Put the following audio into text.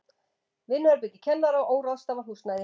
Vinnuherbergi kennara og óráðstafað húsnæði.